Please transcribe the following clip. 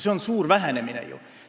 See on ju suur vähenemine!